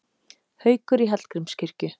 Haukur í Hallgrímskirkju